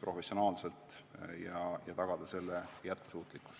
professionaalset toimimist ja tagada selle jätkusuutlikkus.